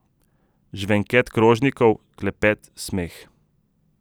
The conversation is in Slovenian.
Žvenket krožnikov, klepet, smeh.